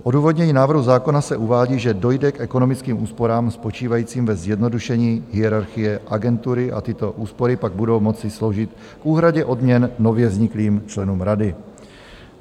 V odůvodnění návrhu zákona se uvádí, že dojde k ekonomickým úsporám spočívajícím ve zjednodušení hierarchie agentury a tyto úspory pak budou moci sloužit k úhradě odměn nově vzniklým členům rady.